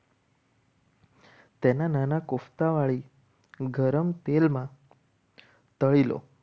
તેના નાના કોફતા વાળી ગરમ તેલમાં તળી લો.